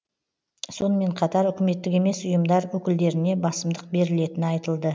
сонымен қатар үкіметтік емес ұйымдар өкілдеріне басымдық берілетіні айтылды